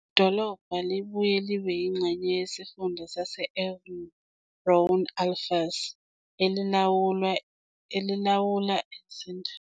Idolobha libuye libe yingxenye yesifunda sase-Auvergne-Rhône-Alpes, elilawula izindaba zezomnotho, ezemfundo, nezokuthutha kulesi sifunda.